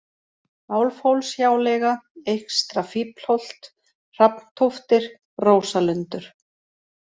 Álfhólshjáleiga, Eystra-Fíflholt, Hrafntóftir, Rósalundur